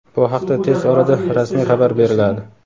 Bu haqda tez orada rasmiy xabar beriladi.